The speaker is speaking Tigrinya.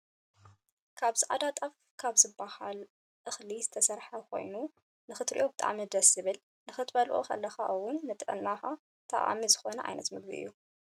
ኣብ ፃዕዳ ጣፍ ካብ ዝብሃል እክሊ ዝተሰረሐ ኮይኑክትርእዮን ብጣዕሚ ደስ ዝብልን ክትበልዖ ከለካ እውን ንጥዕናና ጠቃሚ ዝኮነ ዓይነት ምግቢ እዩ።